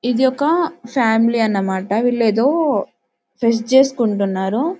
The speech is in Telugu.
ఇది ఒక ఫ్యామిలీ అన్నమాట వీళ్ళు ఏదో ఫస్ట్ చేసుకుంటున్నారు.